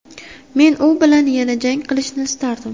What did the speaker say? Men u bilan yana jang qilishni istardim.